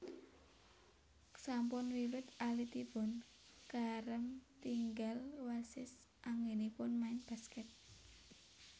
Sampun wiwit alitipun Kareem ketingal wasis anggenipun main basket